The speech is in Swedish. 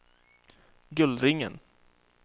Gullringen